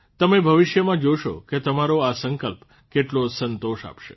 તમે ભવિષ્યમાં જોશો કે તમારો આ સંકલ્પ કેટલો સંતોષ આપશે